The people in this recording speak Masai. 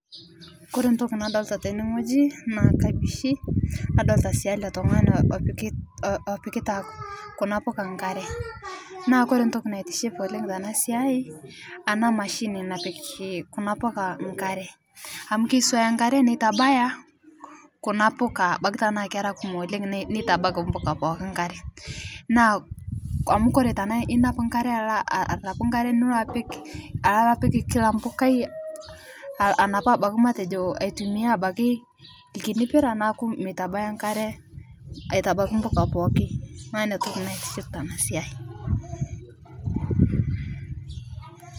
Kore ntoki nadolita tene naa kabishii nadolita sii ale tung'ani opikita kuna puka nkaree naa kore ntoki naitiship oleng' tana siai ana mashini napik kuna puka nkare amu keisuaya nkare neitabaya kuna puka abaki tanaa kera kumok oleng' neitabaki mpuka pooki nkare naa amu kore tanaaku inap nkare aloo arapuu nkare nilo apik kila mpukai anapuu abaki matejo aitumia abaki lkini piraa naaku meitabaya nkaree aitabaki nmpuka pooki naaku inia toki naitiship tana siai.